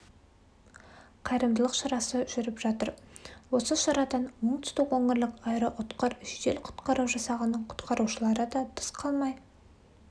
қайырымдылық шарасы жүріп жатыр осы шарадан оңтүстік өңірлік аэроұтқыр жедел құтқару жасағының құтқарушыларыда тыс қалмай